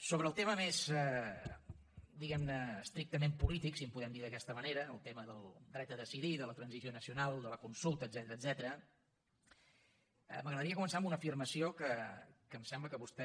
sobre el tema més diguem ne estrictament polític si en podem dir d’aquesta manera el tema del dret a decidir de la transició nacional de la consulta etcètera m’agradaria començar amb una afirmació que em sembla que vostè